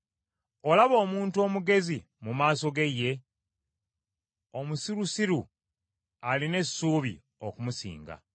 Olaba omuntu omugezi mu maaso ge ye? Omusirusiru alina essuubi okumusinga.